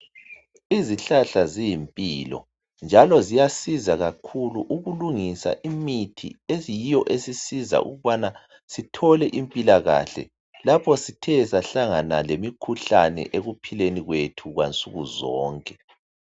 Izihlahla ziyimpilo njalo ziyasiza kakhulu ukulungisa imithi eyiyo esiza ukubana sithole impilakahle lapho sithe sahlangana lemikhuhlane ekuphileni kwethu kwansukuzonke.